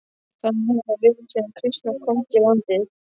Þannig hefur það verið síðan kristni komst í landið.